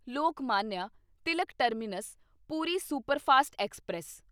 Lokmanya Tilak terminus Puri superfast express